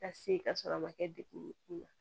Ka se ka sɔrɔ a ma kɛ degun ye